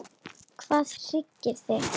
Hvað hryggir þig?